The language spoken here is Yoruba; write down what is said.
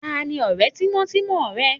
Ta ni ọ̀rẹ́ tímọ́tímọ́ rẹ?